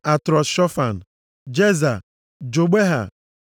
Atrọt-Shofan, Jeza, Jogbeha,